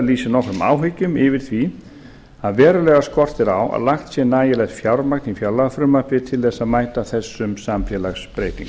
lýsir nokkrum áhyggjum yfir því að verulega skortir á að lagt sé nægilegt fjármagn í fjárlagafrumvarpið til þess að mæta þessum samfélagsbreytingum